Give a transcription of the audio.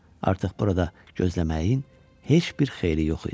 Artıq burada gözləməyin heç bir xeyri yox idi.